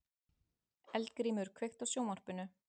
Eldgrímur, kveiktu á sjónvarpinu.